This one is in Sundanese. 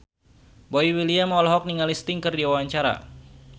Boy William olohok ningali Sting keur diwawancara